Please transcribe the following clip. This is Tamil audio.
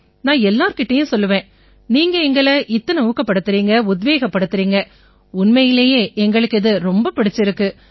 நான் எல்லார் கிட்டயும் சொல்லுவேன் நீங்க எங்களை இத்தனை ஊக்கப்படுத்தறீங்க உத்வேகப்படுத்தறீங்க உண்மையிலேயே எங்களுக்கு இது ரொம்ப பிடிச்சிருக்கு